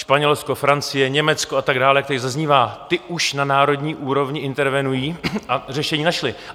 Španělsko, Francie, Německo a tak dále, jak tady zaznívá, ty už na národní úrovni intervenují a řešení našli.